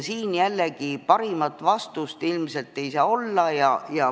Siin jällegi parimat vastust ilmselt ei saa olla.